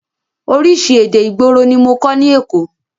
Oríṣi èdè ìgboro ní mọ kọ́ ní èkó.